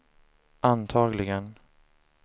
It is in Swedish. antagligen